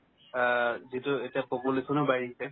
আ, যিহেতু এতিয়া population ও বাঢ়ি আহিছে